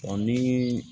Ɔ ni